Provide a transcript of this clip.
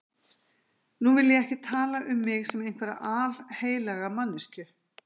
Nú vil ég ekki tala um mig sem einhverja alheilaga manneskju.